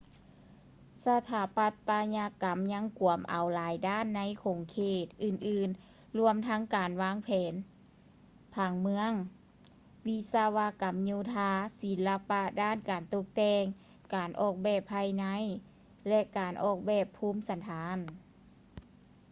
ສະຖາປັດຕະຍະກຳຍັງກວມເອົາຫຼາຍດ້ານໃນຂົງເຂດອື່ນໆລວມທັງການວາງແຜນຜັງເມືອງ ວິສະວະກຳໂຍທາ ສິນລະປະດ້ານການຕົກແຕ່ງ ການອອກແບບພາຍໃນ ແລະ ການອອກແບບພູມສັນຖານ